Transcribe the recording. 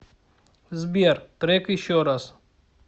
сбер трек еще раз